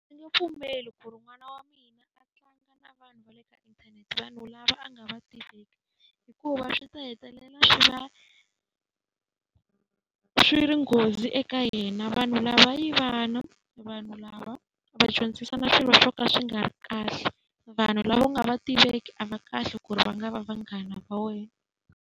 Ndzi nge pfumeli ku ri n'wana wa mina a tlanga na vanhu ka inthanete, vanhu lava a nga va tiveki. Hikuva swi ta hetelela swi va swi ri nghozi eka yena. Vanhu lava i vana, vanhu lava va dyondzisana swilo swo ka swi nga ri kahle. Vanhu lava u nga va tiveki a va kahle ku ri va nga va vanghana va wena.